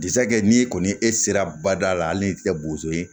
n'i kɔni e sera bada la hali n'i ti kɛ bozo ye